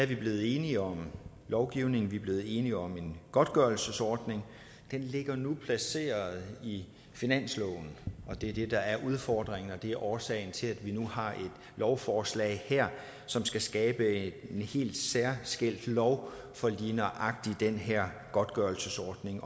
vi blevet enige om en lovgivning vi er blevet enige om en godtgørelsesordning og den ligger nu placeret i finansloven det er det der er udfordringen og det er årsagen til at vi nu har et lovforslag her som skal skabe en helt særskilt lov for lige nøjagtig den her godtgørelsesordning